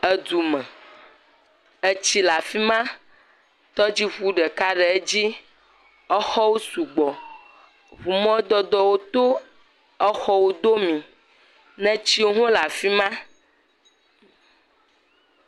Edu me, etsi le afi ma, tɔdziŋu ɖeka le edzi, exɔwo sugbɔ, ŋu mɔdodowo to exɔwo domii, netiwo hã le afi ma.